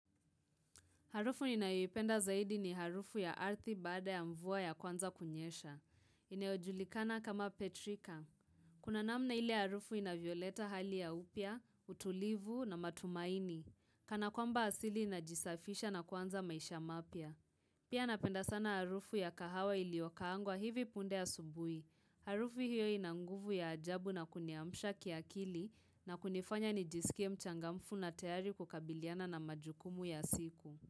Harufu ninayoipenda zaidi ni harufu ya ardhi baada ya mvua ya kwanza kunyesha. Inayojulikana kama petrika. Kuna namna ile harufu inavyoleta hali ya upya, utulivu na matumaini. Kana kwamba asili inajisafisha na kwanza maisha mapya. Pia napenda sana harufu ya kahawa iliyokaangwa hivi punde asubui. Harufu hiyo ina nguvu ya ajabu na kuniamsha kiakili na kunifanya nijisikie mchangamfu na tayari kukabiliana na majukumu ya siku.